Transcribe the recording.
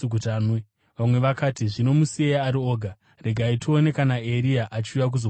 Vamwe vakati, “Zvino musiyei ari oga. Regai tione kana Eria achiuya kuzomuponesa.”